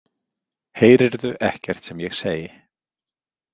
Heyrirðu ekkert sem ég segi?